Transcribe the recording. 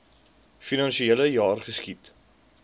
finansiele jaar geskied